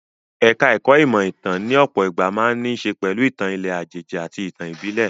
Ẹ̀ka ẹ̀kó ìmọ̀ ìtàn ní ọ̀pọ̀ ìgbà máa ń ní í ṣe pẹ̀lú ìtàn ilẹ̀ àjèjì àti ìtàn ìbílè.